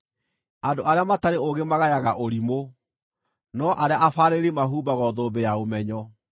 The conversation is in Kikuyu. Andũ arĩa matarĩ ũũgĩ magayaga ũrimũ, no arĩa abaarĩrĩri mahumbagwo thũmbĩ ya ũmenyo.